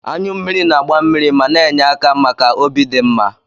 Anyụ mmiri na-agba mmiri ma na-enye aka maka obi dị mma.